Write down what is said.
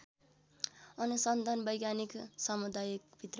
अनुसन्धान वैज्ञानिक समुदायभित्र